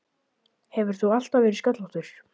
Hefur þú alltaf verið sköllóttur?